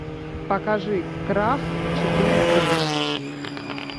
покажи крах четыре кей